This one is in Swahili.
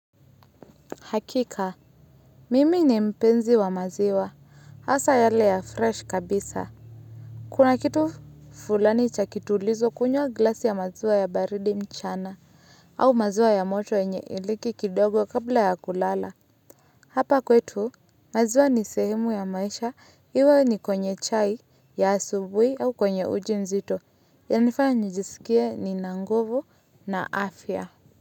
Hakika mimi ni mpenzi wa maziwa hasa yale ya fresh kabisa kuna kitu fulani cha kitulizo kunywa glasi ya maziwa ya baridi mchana au maziwa ya moto yenye iliki kidogo kabla ya kulala hapa kwetu maziwa ni sehemu ya maisha iwe ni kwenye chai ya asubuhi au kwenye uji mzito yananifanya njisikie nina nguvu na afya.